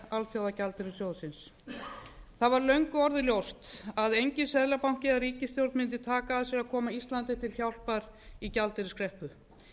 það var löngu orðið ljóst að enginn seðlabanki eða ríkisstjórn mundi taka að sér að koma íslandi til hjálpar í gjaldeyriskreppu